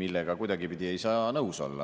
millega kuidagipidi ei saa nõus olla.